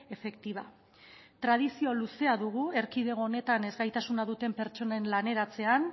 efectiva tradizio luzea dugu erkidego honetan ezgaitasuna duten pertsonen laneratzean